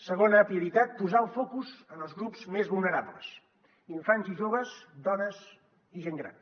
segona prioritat posar el focus en els grups més vulnerables infants i joves dones i gent gran